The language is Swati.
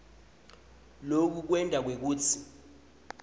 loku kwenta kwekutsi